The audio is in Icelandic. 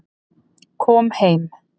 Kom heim